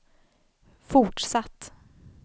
fortsatt